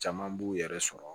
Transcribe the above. Caman b'u yɛrɛ sɔrɔ